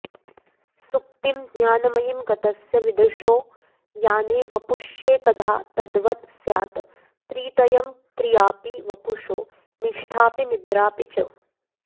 सुप्तिं ज्ञानमयीं गतस्य विदुषो याने वपुष्येकधा तद्वत् स्यात् त्रितयं क्रियापि वपुषो निष्ठापि निद्रापि च